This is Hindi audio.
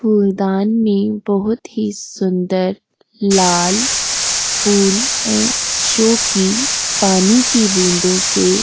फूलदान में बहुत ही सुंदर लाल फूल है जोकि पानी की बूंदों से --